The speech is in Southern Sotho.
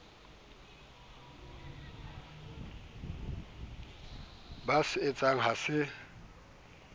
ba se etsahang ha se